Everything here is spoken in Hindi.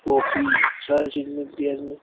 काफी सारी चीज मिलती है इनमे।